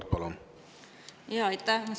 Aitäh!